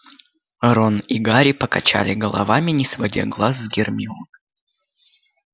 рон и гарри покачали головами не сводя глаз с гермионы